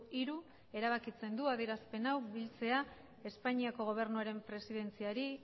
hiru erabakitzen du adierazpen hau biltzea espainiako gobernuaren presidentziari